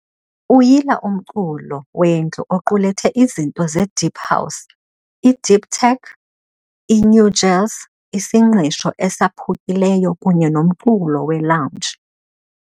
Uyila umculo wendlu oqulethe izinto ze-deep house, i-deep tech, i-Nu Jazz, isingqisho esaphukileyo kunye nomculo weLounge